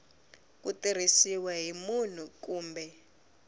ku tirhisiwa hi munhu kumbe